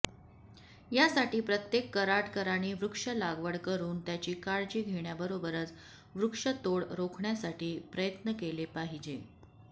यासाठी प्रत्येक कराडकरांनी वृक्ष लागवड करून त्याची काळजी घेण्याबरोबरच वृक्ष तोड रोखण्यासाठी प्रयत्न केले पाहिजे